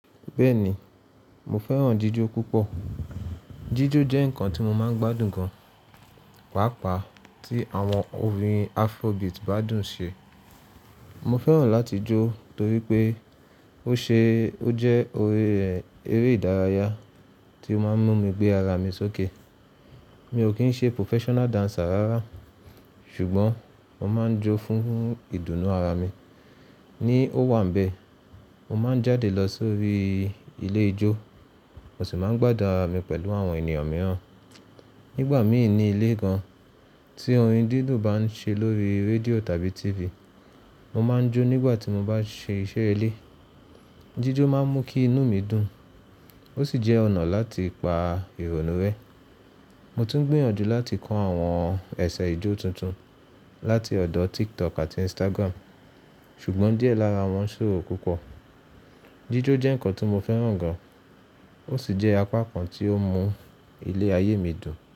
Bẹ́ẹ̀ni, mo fẹ́ràn jíjó púpọ̀. Jíjó jẹ́ ǹkan tí mo máa ń gbádùn gan, pàápàá tí àwọn orin afrobeat bá dùn ṣe. Mo fẹ́ràn láti jó torí pé ó ṣe, ó jẹ́ eré ìdárayá tí ó máa ń mú mi gbé ara mi sókè. Mi ò kí ń ṣe professional dancer rárá, ṣùgbọ́n mo máa ń jó fún ìdùnnú ara mi. Ní ó wà ń bẹ, mo máa ń jáde lọ sórí ilé ijó, mo sì máa ń gbádùn ara mi pẹ̀lú àwọn ènìyàn mìíràn. Nígbà míì ní ilé gan, tí orin dídùn bá ń ṣe lórí rédíò tàbí TV, mo máa ń jó nígbà tí mo bá ṣe iṣẹ́ ilé. Jíjó máa ń mú kí inú mi dùn, ó sì jẹ́ ọ̀nà láti pa ìrònú rẹ́. Mo tún gbìyànjú láti kọ́ àwọn ẹ̀ṣẹ̀ ijó tuntun láti ọ̀dọ̀ TikTok àti Instagram, ṣùgbọ́n díẹ̀ lára wọn ṣòro púpọ̀. Jíjó jẹ́ ǹkan tí mo fẹ́ràn gan, ó sì jẹ́ apá kan tí ó mú ilé ayé mi dùn.